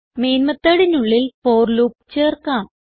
main methodനുള്ളിൽ for loop ചേർക്കാം